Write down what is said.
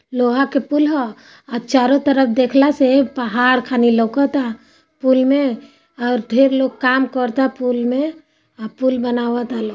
लोहा का पूल है और चारों तरफ से पहाड़ घना लगता है | पूल में ढेर लोग काम कर रहा है | पूल में पूल बना रहा है |